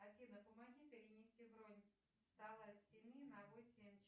афина помоги перенести бронь стола с семи на восемь